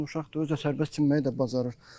17 yaşında uşaqdır, özü də sərbəst çimməyi də bacarır.